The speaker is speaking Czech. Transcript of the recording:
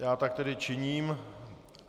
Já tak tedy činím.